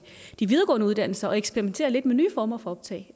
de videregående uddannelser til at eksperimentere lidt med nye former for optag